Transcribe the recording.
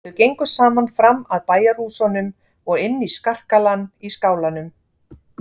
Þau gengu saman fram með bæjarhúsunum og inn í skarkalann í skálanum.